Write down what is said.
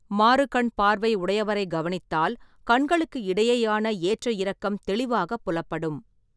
மாறுகண் பார்வை உடையவரைக் கவனித்தால், ​​​​கண்களுக்கு இடையேயான ஏற்றயிறக்கம் தெளிவாகப் புலப்படும்.